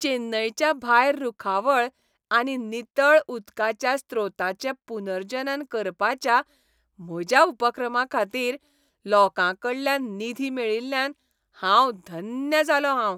चेन्नईच्या भायर रूखावळ आनी नितळ उदकाच्या स्रोतांचें पुनर्जनन करपाच्या म्हज्या उपक्रमाखातीर लोकांकडल्यान निधी मेळिल्ल्यान हांव धन्य जालों हांव.